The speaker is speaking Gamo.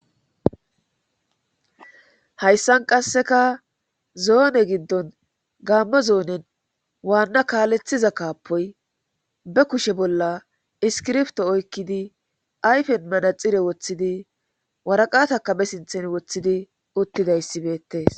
hayssan qasseka zoone giddon gaammo zoonen waanna kaalethiza kaapoy be kushe bolla iskirfto oykkidi ayfen manaxire woththidi waraqataka be sinthen woththidi uttidayssibeettees